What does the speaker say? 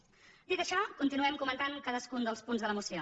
dit això continuem comentant cadascun dels punts de la moció